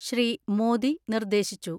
ശ്രീ. മോദി നിർദ്ദേശിച്ചു.